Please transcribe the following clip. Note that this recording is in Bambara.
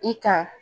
I kan